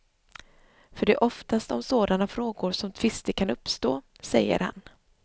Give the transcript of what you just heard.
För det är oftast om sådana frågor som tvister kan uppstå, säger han.